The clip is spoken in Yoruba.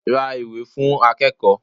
Ra ìwé fún akẹ́kọ̀ọ́.